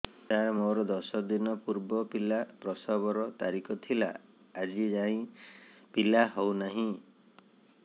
ସାର ମୋର ଦଶ ଦିନ ପୂର୍ବ ପିଲା ପ୍ରସଵ ର ତାରିଖ ଥିଲା ଆଜି ଯାଇଁ ପିଲା ହଉ ନାହିଁ